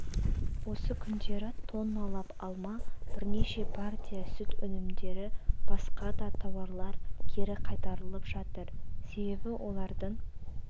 осы күндері тонналап алма бірнеше партия сүт өнімдері басқа да тауарлар кері қайтарылып жатыр себебі олардың